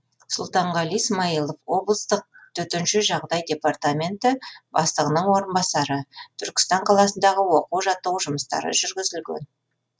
сұлтанғали смаилов облыстық төтенше жағдай департаменті бастығының орынбасары түркістан қаласындағы оқу жаттығу жұмыстары жүргізілген